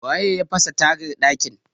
waye ya fasa tagar dakin?